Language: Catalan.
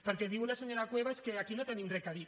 perquè diu la senyora cuevas que aquí no hi tenim re a dir